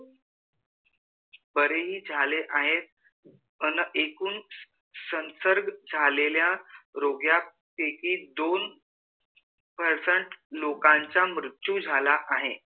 बारे ही झाले आहेत पन एकूण संसर्ग झालेल्या रोग्या पैकी दोन percent लोकांचा मृत्यु झाला आहे